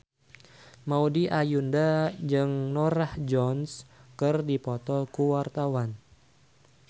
Maudy Ayunda jeung Norah Jones keur dipoto ku wartawan